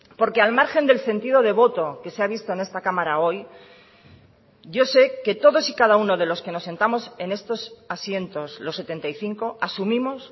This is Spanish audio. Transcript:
porque al margen del sentido de voto que se ha visto en esta cámara hoy yo sé que todos y cada uno de los que nos sentamos en estos asientos los setenta y cinco asumimos